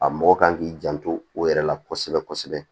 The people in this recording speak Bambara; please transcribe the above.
A mɔgɔ kan k'i janto o yɛrɛ la kosɛbɛ kosɛbɛ